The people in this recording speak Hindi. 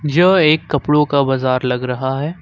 यह एक कपड़ो का बाजार लग रहा है।